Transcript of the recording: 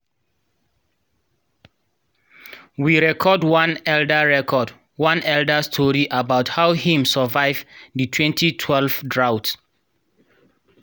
we record one elder record one elder story about how him survive di 2012 drought.